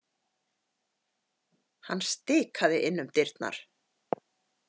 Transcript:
Hann stikaði inn um dyrnar.